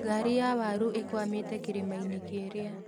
Ngari ya waru ĩkwamĩte kĩrĩma-inĩ kĩrĩa